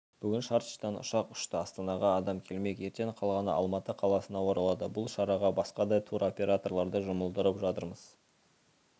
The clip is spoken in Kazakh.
бүгін шардждан ұшақ ұшты астанаға адам келмек ертең қалғаны алматы қаласына оралады бұл шараға басқа да туроператорларды жұмылдырып жатырмыз